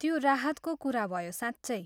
त्यो राहतको कुरा भयो, साँच्चै।